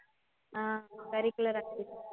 ah curricular activities